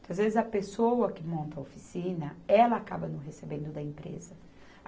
Que às vezes, a pessoa que monta a oficina, ela acaba não recebendo da empresa.